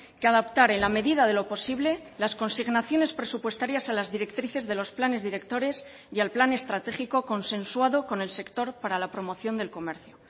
que adaptar en la medida de lo posible las consignaciones presupuestarias a las directrices de los planes directores y al plan estratégico consensuado con el sector para la promoción del comercio